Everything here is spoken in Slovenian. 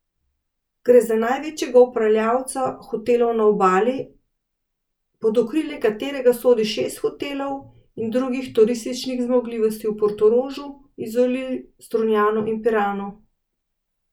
Gre za največjega upravljalca hotelov na Obali, pod okrilje katerega sodi šest hotelov in drugih turističnih zmogljivosti v Portorožu, Izoli, Strunjanu in Piranu.